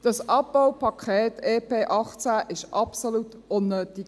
Dieses Abbaupaket, das Entlastungspaket (EP) 2018, war absolut unnötig.